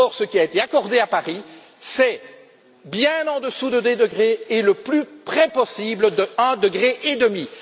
pas. Or, ce qui a été accordé à Paris est bien en dessous de deux degrés et le plus près possible d'un degré et